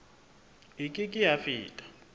e ke ke ya feta